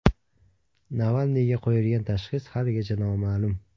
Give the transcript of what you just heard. Navalniyga qo‘yilgan tashxis haligacha noma’lum.